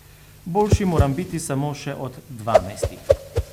Boljši moram biti samo še od dvanajstih.